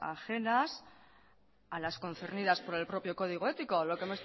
ajenas a las concernidas por el propio código ético lo que